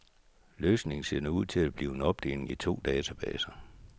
Løsningen ser nu ud til at blive en opdeling i to databaser.